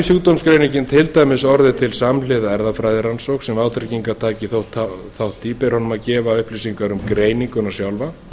sjúkdómsgreiningin til dæmis orðið til samhliða erfðafræðirannsókn sem vátryggingartaki tók þátt í ber honum að gefa upplýsingar um greininguna sjálfa